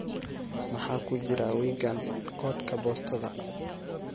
maxaa ku jira wiiggan koodka boostada